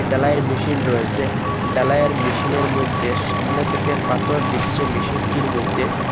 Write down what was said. ঢালাইয়ের মেশিন রয়েছে ঢালাইয়ের মেশিনের মইধ্যে সামনে থেকে পাথর দিচ্ছে মেশিনটির মইধ্যে--